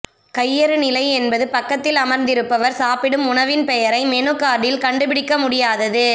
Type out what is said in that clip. கையறுநிலை என்பது பக்கத்தில் அமர்ந்திருப்பவர் சாப்பிடும் உணவின் பெயரை மெனு கார்டில் கண்டுபிடிக்க முடியாதது